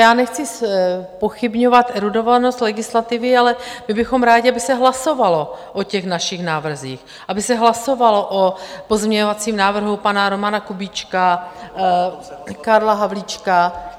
Já nechci zpochybňovat erudovanost legislativy, ale my bychom rádi, aby se hlasovalo o těch našich návrzích, aby se hlasovalo o pozměňovacím návrhu pana Romana Kubíčka, Karla Havlíčka.